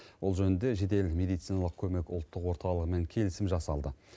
ол жөнінде жедел мединалық көмек ұлттық орталығымен келісім жасалды